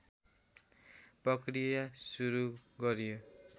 प्रक्रिया सुरू गरियो